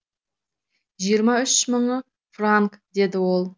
жиырма үші мың франк деді ол